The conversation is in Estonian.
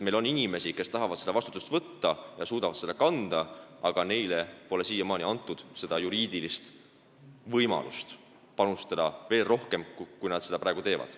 Meil on inimesi, kes tahavad seda vastutust võtta ja suudavad seda kanda, aga neile pole siiamaani antud juriidilist võimalust panustada veel rohkem, kui nad praegu teevad.